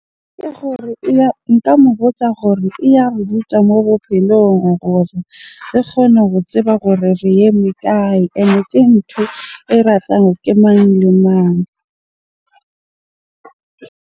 Ke gore eya, nka mo botsa gore e ya re ruta mo bophelong gore re kgone ho tseba gore re eme kae? Ene ke ntho e ratang ke mang le mang?